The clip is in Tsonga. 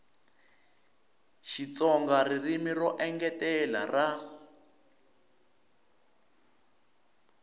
xitsonga ririmi ro engetela ra